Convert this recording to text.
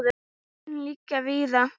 Og sporin liggja víða.